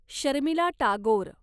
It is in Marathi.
शर्मिला टागोर